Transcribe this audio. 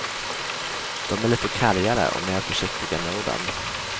De är lite kargare och mer försiktiga med orden.